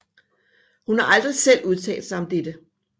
Hun har aldrig selv udtalt sig om dette